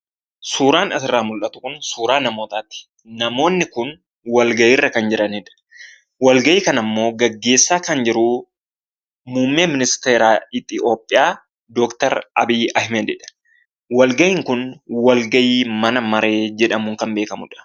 suuraan asirraa mul'atu kun suuraa namootaati namoonni kun walgahiirra kan jiranidha, walgahii kanammoo gaggeessaa kan jiru muummee ministeeraa Itoophiyaa Dr. abiyyi ahmadidha. walgahiin kun walgahii mana maree jedhamuun kan beekkamudha.